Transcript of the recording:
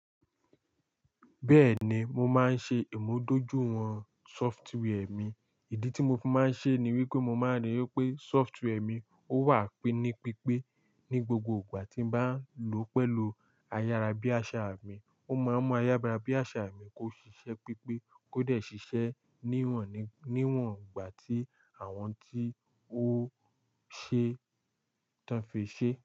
Bẹ́ẹ̀ni, mo máa ń ṣe ìmúdójúìwọ̀n sọfitwiì mi. Ìdí tí mo fi máa ń ṣe ní wípé mo máa ríi wípé sọfitwiì mi ó wà pinípípé ní gbogbo ìgbà tí ń bá lò ó pẹ̀lú ayárábiàsà mi. Ó máa ń mú ayárábiàsà mi kó ṣiṣẹ́ pípé, kó dẹ̀ ṣiṣẹ́ níwọ̀n, níwọ̀n ìgbà tí àwọn tí ó ṣe tan fè ṣe.